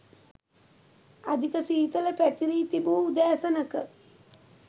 අධික සීතල පැතිරී තිබූ උදෑසනක